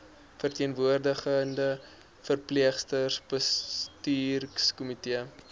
verteenwoordigende verpleegsters bestuurskomitee